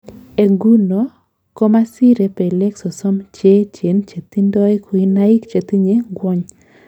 En nguno komasire pelek sosom cheechen chetindoi kuinaik chetinye ngwony